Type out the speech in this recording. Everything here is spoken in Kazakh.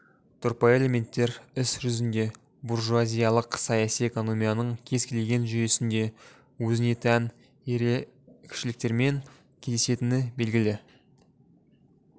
тұрпайы элементтер іс жүзінде буржуазиялық саяси экономияның кез келген жүйесінде өзіне тән ерекшеліктерімен кездесетіні белгілі